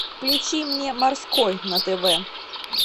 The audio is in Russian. включи мне морской на тв